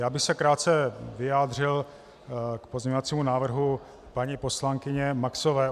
Já bych se krátce vyjádřil k pozměňovacímu návrhu paní poslankyně Maxové.